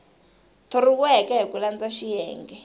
thoriweke hi ku landza xiyenge